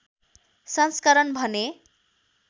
संस्करण भने